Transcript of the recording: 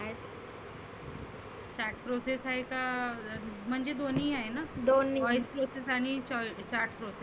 chat process आहे का? म्हणजे दोन्ही आहे ना? voice process process आणि chat process